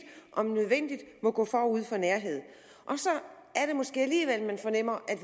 om nødvendigt må gå forud for nærhed og så er det måske alligevel man fornemmer at